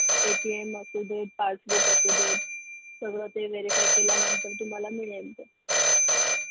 ATM असूदेत passbook असूदेत सगळं ते verify केल्यानंतर तुम्हाला ते मिळेल